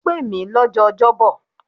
Ó pè mí lọ́jọ́ Ọjọ́ bọ̀.